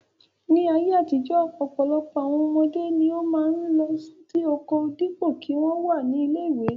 Ní ayé àtijọ́ ọ̀pọ̀lọpọ̀ àwọn ọmọdé ni ó máa ń lọ oko dípò kí wọ́n wà ní ilé-ìwé lọ.